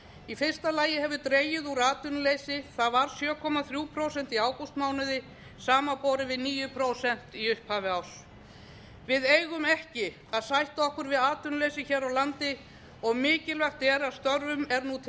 í fyrsta lagi hefur dregið úr atvinnuleysi það var sjö komma þrjú prósent í ágústmánuði samanborið við níu prósent í upphafi árs við eigum ekki að sætta okkur við atvinnuleysi hér á landi og mikilvægt er að störfum er nú